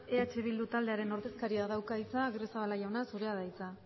eh bildu taldearen ordezkariak dauka hitza agirrezabala jauna zurea da hitza